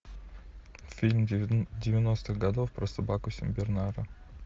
фильм девяностых годов про собаку сенбернара